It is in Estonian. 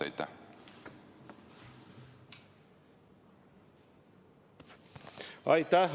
Aitäh!